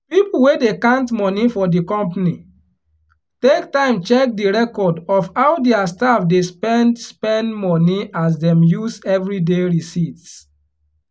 people wey dey count money for di company take time check di record of how dia staff dey spend spend money as dem use everyday receipts